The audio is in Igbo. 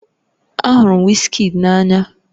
Ahụrụ m Wizkid n'anya